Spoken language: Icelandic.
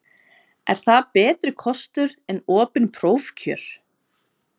Er það betri kostur en opin prófkjör?